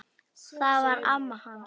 Það var amma hans